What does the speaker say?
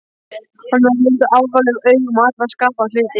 Hann horfði líka alvarlegum augum á alla skapaða hluti.